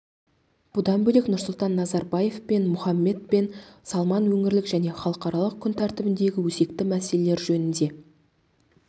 бұдан бөлек нұрсұлтан назарбаев пен мұхаммед бен салман өңірлік және халықаралық күн тәртібіндегі өзекті мәселелер жөнінде